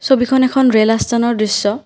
ছবিখন এখন ৰেল আস্থানৰ দৃশ্য।